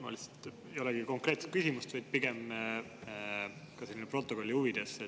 Mul ei olegi konkreetset küsimust, vaid pigem lihtsalt täpsustus protokolli huvides.